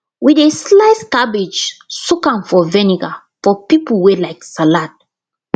we dey slice cabbage soak am for vinegar for people wey like salad